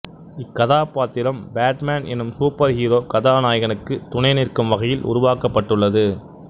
இக்கதாப்பாத்திரம் Batman எனும் superhero கதாநாயகனுக்கு துணைநிற்கும் வகையில் உருவாக்கப்பட்டுள்ளது